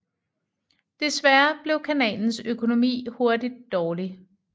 Desværre blev kanalens økonomi hurtigt dårlig